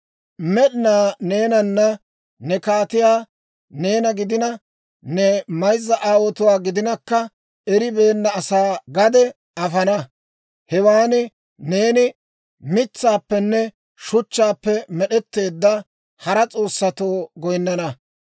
«Med'inaa Goday neenanne ne kaatiyaa, neena gidina, ne mayzza aawotuwaa gidinakka eribeenna asaa gade afana. Hewaan neeni mitsaappenne shuchchaappe med'etteedda hara s'oossatoo goyinnana.